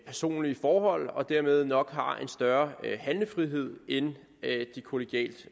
personlige forhold og dermed nok har en større handlefrihed end de kollegialt